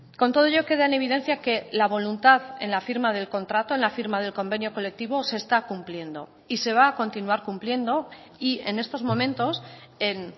con todo ello queda en evidencia que la voluntad en la firma del contrato en la firma del convenio colectivo se está cumpliendo y se va a continuar cumpliendo y en estos momentos en